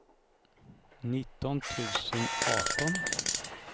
nitton tusen arton